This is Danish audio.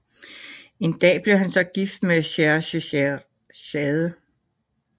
En dag blev han så gift med Scheherazade